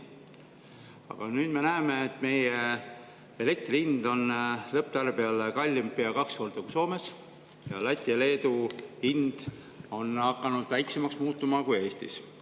Aga nüüd me näeme, et meie elektri hind on lõpptarbijale pea kaks korda kallim kui Soomes ja Läti ja Leedu hind on hakanud väiksemaks muutuma kui Eestis.